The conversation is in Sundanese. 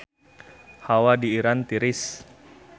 Hawa di Iran tiris